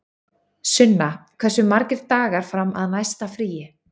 Sunna, hversu margir dagar fram að næsta fríi?